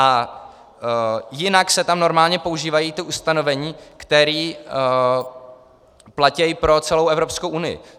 A jinak se tam normálně používají ta ustanovení, která platí pro celou Evropskou unii.